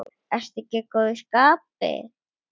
Ertu ekki í góðu skapi?